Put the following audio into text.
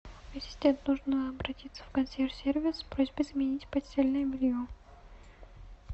ассистент нужно обратиться в консьерж сервис с просьбой заменить постельное белье